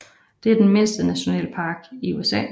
Den er den mindste nationalpark i USA